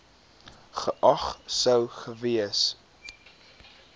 geag sou gewees